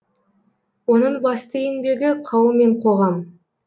оның басты еңбегі қауым мен қоғам